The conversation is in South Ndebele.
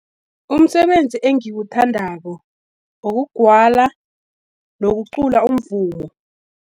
Umsebenzi engiwuthandako, ukugwala, nokucula umvumo.